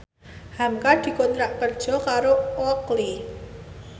hamka dikontrak kerja karo Oakley